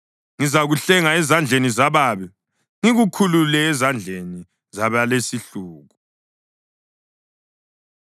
“Ngizakuhlenga ezandleni zababi ngikukhulule ezandleni zabalesihluku.”